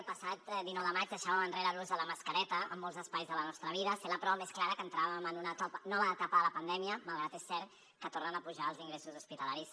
el passat dinou de maig deixàvem enrere l’ús de la mascareta en molts espais de la nostra vida sent la prova més clara que entràvem en una nova etapa de la pandèmia malgrat que és cert que tornen a pujar els ingressos hospitalaris